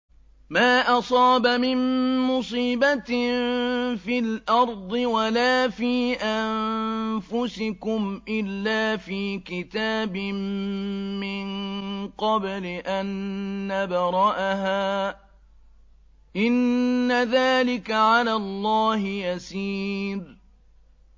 مَا أَصَابَ مِن مُّصِيبَةٍ فِي الْأَرْضِ وَلَا فِي أَنفُسِكُمْ إِلَّا فِي كِتَابٍ مِّن قَبْلِ أَن نَّبْرَأَهَا ۚ إِنَّ ذَٰلِكَ عَلَى اللَّهِ يَسِيرٌ